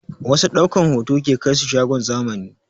Wasu ɗaukan hoto ke kaisu shagon zamani